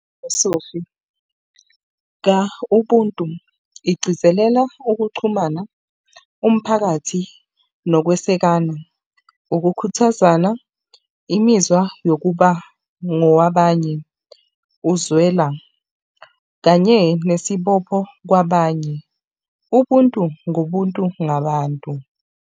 Esofika ubuntu igcizelela ukuxhumana umphakathi nokwesekana. Ukukhuthazana imizwa yokuba ngowabanye, uzwela kanye nesibopho kwabanye. Ubuntu, ngobuntu ngabantu.